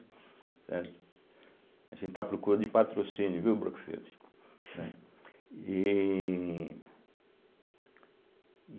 Certo. A gente está a procura de patrocínio, viu, Brookfield? e